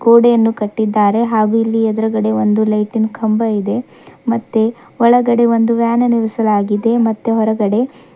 ಗೋಡೆಯನ್ನು ಕಟ್ಟಿದ್ದಾರೆ ಹಾಗೂ ಇಲ್ಲಿ ಎದ್ರುಗಡೆ ಒಂದು ಲೈಟಿನ್ ಕಂಬ ಇದೆ ಮತ್ತೆ ಒಳಗಡೆ ಒಂದು ವ್ಯಾನ್ ನಿಲ್ಲಿಸಲಾಗಿದೆ ಮತ್ತೆ ಹೊರಗಡೆ--